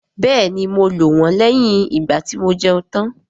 Bẹ́ẹ̀ni, mo lò wọ́n lẹ́yìn ìgbàtí mo jẹun tán